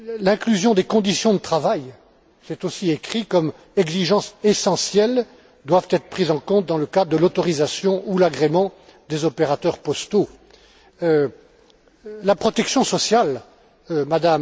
L'inclusion des conditions de travail est aussi inscrite comme exigence essentielle qui doit être prise en compte dans le cadre de l'autorisation ou l'agrément des opérateurs postaux. En ce qui concerne la protection sociale